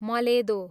मलेदो